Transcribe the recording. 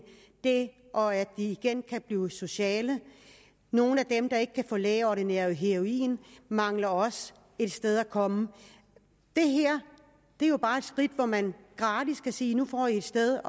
og at de igen kan blive sociale nogle af dem der ikke kan få lægeordineret heroin mangler også et sted at komme det her er jo bare et skridt hvor man gratis kan sige nu får i et sted